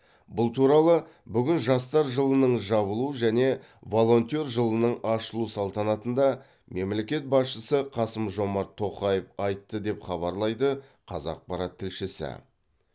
бұл туралы бүгін жастар жылының жабылу және волонтер жылының ашылу салтанатында мемлекет басшысы қасым жомарт тоқаев айтты деп хабарлайды қазақпарат тілшісі